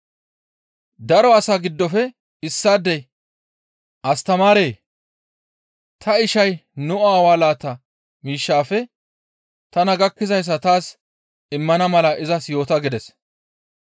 Daro asaa giddofe issaadey, «Astamaaree! Ta ishay nu aawaa laata miishshaafe tana gakkizayssa taas immana mala izas yoota» gides.